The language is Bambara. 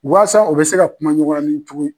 Waasa o bɛ se ka kumaɲɔgɔnya nin cogo